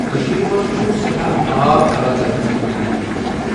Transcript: کشیرِ مَنٛز چھُ سؠٹھاہ آب اللہ تعالاہن عنایت کۄرمۆت